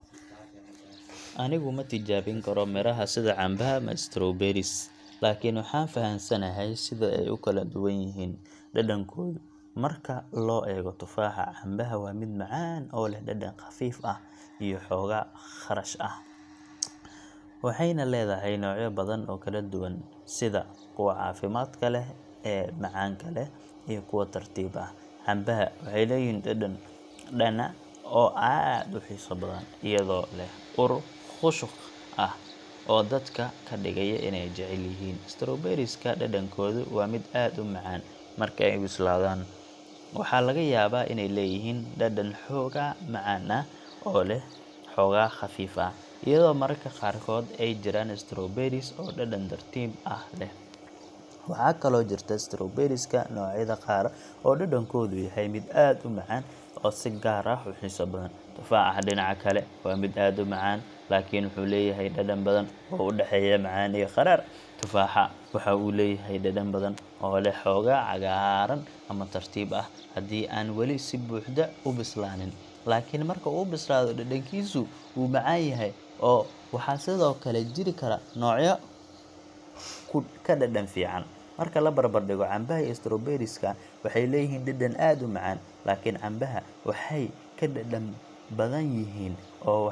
Anigu ma tijaabin karo miraha sida cambaha ama strawberries, laakiin waxaan fahamsanahay sida ay u kala duwan yihiin dhadhankoodu marka loo eego tufaaxa. Cambaha waa mid macaan oo leh dhadhan khafiif ah iyo xoogaa kharash ah, waxayna leedahay noocyo badan oo kala duwan sida kuwa caafimaadka leh ee macaanka leh iyo kuwa tartiib ah. Cambaha waxay leeyihiin dhadhan dhana oo aad u xiiso badan, iyadoo leh ur khushuq ah oo dadka ka dhigaya inay jecel yihiin. Strawberries ka, dhadhankoodu waa mid aad u macaan, marka ay bislaadaan. Waxaa laga yaabaa inay leeyihiin dhadhan xoogaa macaan ah oo leh xoogaa khafiif ah, iyadoo mararka qaarkood ay jiraan strawberries oo dhadhan tartiib ah leh. Waxaa kaloo jirta strawberry ga noocyada qaar oo dhadhankoodu yahay mid aad u macaan oo si gaar ah u xiiso badan. Tufaaxa, dhinaca kale, waa mid aad u macaan, laakiin wuxuu leeyahay dhadhan badan oo u dhexeeya macaan iyo qadhaadh. Tufaaxa waxa uu leeyahay dhadhan badan oo leh xoogaa cagaaran ama tartiib ah haddii aan weli si buuxda u bislaanin, laakiin marka uu bislaado dhadhankiisu wuu macaan yahay oo waxaa sidoo kale jiri kara noocyo ka dhadhan fiican. Marka la barbardhigo, cambaha iyo strawberries ka waxay leeyihiin dhadhan aad u macaan, laakiin cambaha waxay ka dhadhami badan yihiin oo.